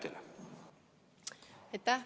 Aitäh!